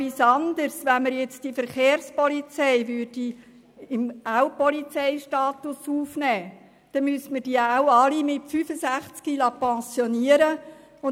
Ein weiterer Punkt: Wenn die Verkehrspolizei auch in den Polizeistatus aufgenommen würde, müssten diese ebenfalls mit 65 Jahren in die Pension entlassen werden.